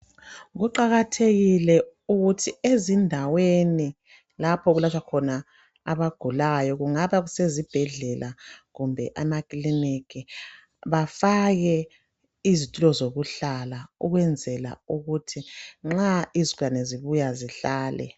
Kuqakathekile ukuthi ezindaweni lapho okulatshwa khona abagulayo kungaba kusezibhedlela kumbe amakiliniki bafake izitulo zokuhlala ukwenzela ukuthi nxa izigulane zibuya zihlale.